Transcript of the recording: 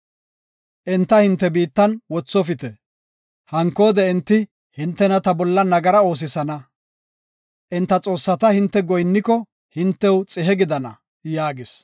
Enta hinte biittan wothofite. Hankoode enti hintena ta bolla nagara oosisana. Enta xoossata hinte goyinniko hintew xihe gidana” yaagis.